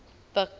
buks